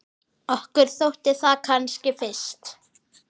Okkur þótti það kannski fyrst.